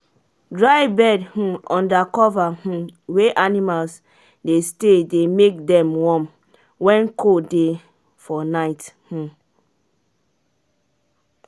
dry bed um under cover um wey animals dey stay dey make them warm when cold dey for night. um